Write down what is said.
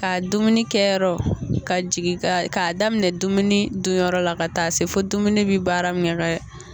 Ka dumuni kɛ yɔrɔ ka jigi ka k'a daminɛ dumuni dunyɔrɔ la ka taa se fo dumuni bɛ baara min